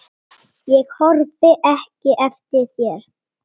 Ég horfi ekki eftir þér.